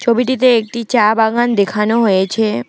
ছবিটিতে একটি চা বাগান দেখানো হয়েছে।